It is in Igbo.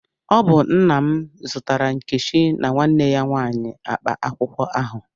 Ọ bụ nna m zụtara Nkechi na nwanne ya nwanyị akpa akwụkwọ ahụ.